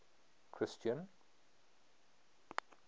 christian